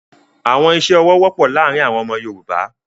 Awọn iṣẹ-ọwọ wọpọ laarin awọn ọmọ Yorùbá